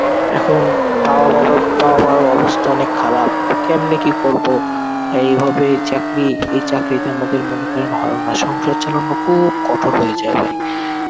এখন বাবা মা~ বাবা মা রো অবস্থা অনেক খারাপ. কেমনে কি করবো? এইভাবে চাকরি, এই চাকরিতে আমাদের মনে করেন হয় না. সংসার চালানো খুব কঠোর হয়ে যায় ভাই.